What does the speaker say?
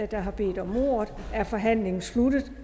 der har bedt om ordet er forhandlingen sluttet